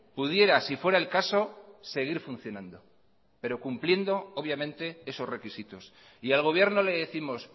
pudiera si fuera el caso seguir funcionando pero cumpliendo obviamente esos requisitos y al gobierno le décimos